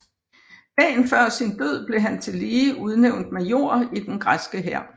Dagen før sin død blev han tillige udnævnt major i den græske hær